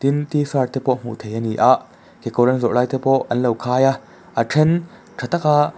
in tshirt te pawh hmuh theih ani a kekawr an zawrh lai te pawh an lo khai a a then ṭha tâk a--